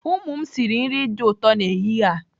Ụmụ m sịrị nri dị ụtọ n'ehihie a.